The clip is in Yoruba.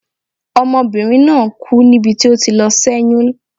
Ọmọbinrin naa ku nibi ti o ti lọ sé̩yún